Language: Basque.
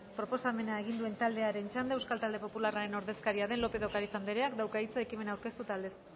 proposamena egin duen taldearen txanda euskal talde popularraren ordezkaria den lópez de ocariz andreak dauka hitza ekimena aurkeztu eta aldezteko